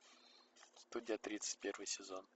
студия тридцать первый сезон